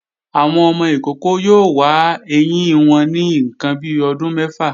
Àwọn ọmọ ìkókó yóò wa ẹyín wọn ní ǹkan bi ọdún mẹ́fà